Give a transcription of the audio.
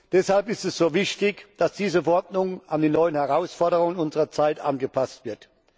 Deshalb ist es so wichtig, dass diese Verordnung an die neuen Herausforderungen unserer Zeit angepasst wird.